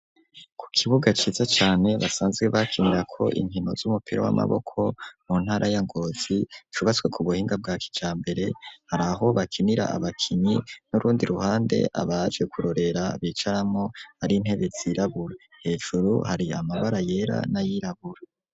Ku kibuga ciza cane basanzwe bakinira ko inkino z'umupira w'amaboko mu ntara ya ngozi cubatswe ku buhinga bwa kica mbere hari aho bakinira abakinyi n'urundi ruhande abaje kurorera bicaramo ari intebe zirabura hejuru hari amabara yera n'ayirabura.